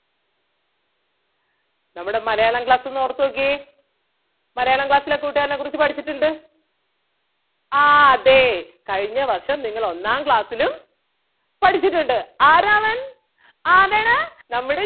നമ്മടെ മലയാളം class ഒന്ന് ഓർത്ത് നോക്കിയേ മലയാളം class ലാ കൂട്ടുകാരനെ കുറിച്ച് പഠിച്ചിട്ടുണ്ട്. ആഹ് അതെ കഴിഞ്ഞ വർഷം നിങ്ങള് ഒന്നാം class ലും പഠിച്ചിട്ടുണ്ട്. ആരാ അവൻ ആരാണ് നമ്മുടെ